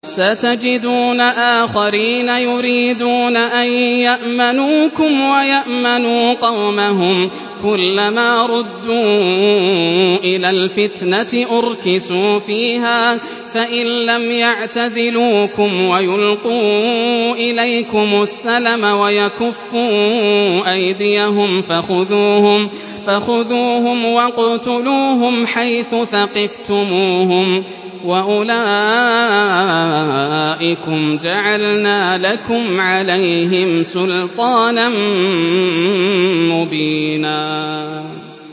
سَتَجِدُونَ آخَرِينَ يُرِيدُونَ أَن يَأْمَنُوكُمْ وَيَأْمَنُوا قَوْمَهُمْ كُلَّ مَا رُدُّوا إِلَى الْفِتْنَةِ أُرْكِسُوا فِيهَا ۚ فَإِن لَّمْ يَعْتَزِلُوكُمْ وَيُلْقُوا إِلَيْكُمُ السَّلَمَ وَيَكُفُّوا أَيْدِيَهُمْ فَخُذُوهُمْ وَاقْتُلُوهُمْ حَيْثُ ثَقِفْتُمُوهُمْ ۚ وَأُولَٰئِكُمْ جَعَلْنَا لَكُمْ عَلَيْهِمْ سُلْطَانًا مُّبِينًا